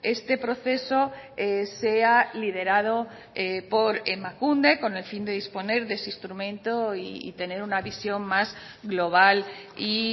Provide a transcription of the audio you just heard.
este proceso sea liderado por emakunde con el fin de disponer de ese instrumento y tener una visión más global y